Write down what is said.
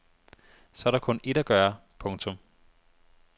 Så er der kun ét at gøre. punktum